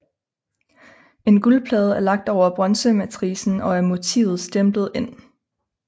En guldplade er lagt over bronzematricen og motivet stemplet ind